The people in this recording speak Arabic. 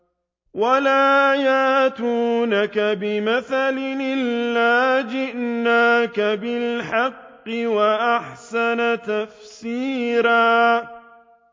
وَلَا يَأْتُونَكَ بِمَثَلٍ إِلَّا جِئْنَاكَ بِالْحَقِّ وَأَحْسَنَ تَفْسِيرًا